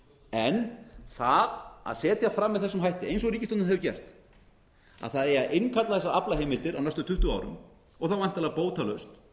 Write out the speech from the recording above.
en það að setja fram með þessum hætti eins og ríkisstjórnin hefur gert að það eigi að innkalla þessar aflaheimildir á næstu tuttugu árum og svo væntanlega bótalaust